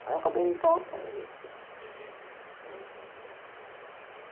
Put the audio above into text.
Aí eu acabei interrompendo os estudos. Uhum. Né